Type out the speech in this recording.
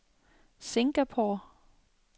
Singapore